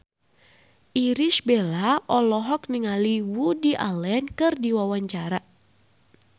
Irish Bella olohok ningali Woody Allen keur diwawancara